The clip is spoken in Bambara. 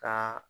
Ka